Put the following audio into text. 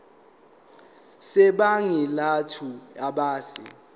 sebhangi lethu ebese